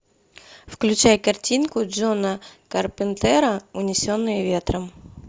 включай картинку джона карпентера унесенные ветром